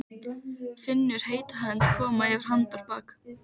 Finnur heita hönd koma yfir handarbak.